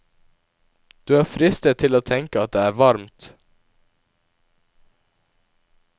Du er fristet til å tenke at det er varmt.